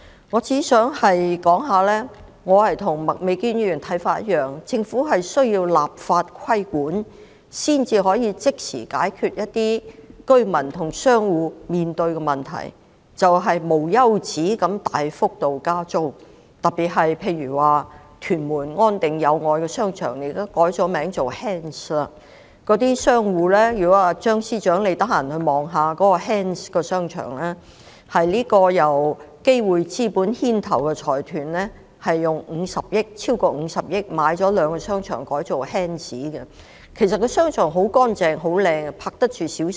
我只想說，我的看法與麥美娟議員相同，認為政府需要立法規管才可即時解決居民和商戶面對的一些問題，例如領展無休止地大幅加租，特別是屯門安定商場和友愛商場現已改名為 H.A.N.D.S.， 如果張司長有空前住視察 ，H.A.N.D.S. 商場是由基匯資本牽頭的財團以超過50億元購買兩個商場，並改稱 H.A.N.D.S.。